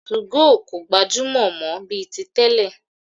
2go kò gbajúmọ̀ mọ́ bíi ti tẹ́lẹ̀.